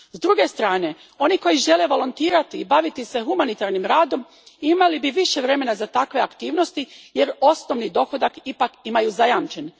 S druge strane, oni koji žele volontirati i baviti se humanitarnim radom imali bi više vremena za takve aktivnosti jer osnovni dohodak ipak imaju zajamčen.